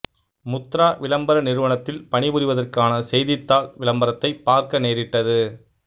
முத்ரா விளம்பர நிறுவனத்தில் பணிபுரிவதற்கான செய்தித்தாள் விளம்பரத்தை பார்க்க நேரிட்டது